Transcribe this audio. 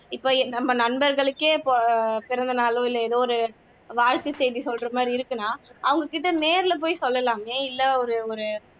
இப்போ நம்ம நண்பர்களுக்கே பிறந்தநாளோ இல்ல ஏதோ வாழ்த்து செய்தி சொல்ற மாதிரி இருக்குனா அவங்ககிட்ட நேர்ல போய் சொல்லலாமே இல்ல ஒரு